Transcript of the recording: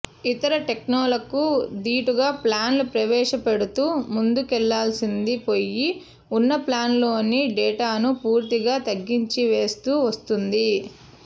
ఇతర టెల్కోలకు ధీటుగా ప్లాన్లు ప్రవేశపెడుతూ ముందుకెళ్లాల్సింది పోయి ఉన్న ప్లాన్లలోని డేటాను పూర్తిగా తగ్గించివేస్తూ వస్తోంది